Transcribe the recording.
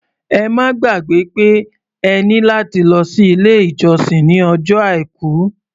Ẹ má gbàgbẹ́ pé ẹ ní láti lọ sí ilé-ìjọsìn ní ọjọ́ Àìkú.